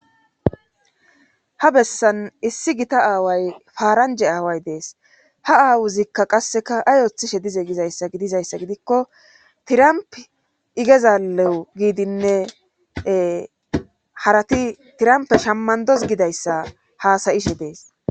ha bessan issi gita aaway faaranje aaway dees ha aawuzikka qasseka ay oothishe dize gizayssa gidizayssa gidikko tiramp igezalewu giidinne harati tirampe shammandos gidayssa haasayishe dees